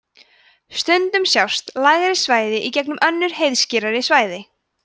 stundum sjást lægri svæði í gegnum önnur heiðskírari svæði